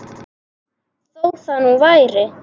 Þó það nú væri!